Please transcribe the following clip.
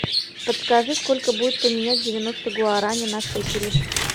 подскажи сколько будет поменять девяносто гуарани на шекели